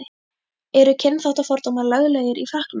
Eru kynþáttafordómar löglegir í Frakklandi?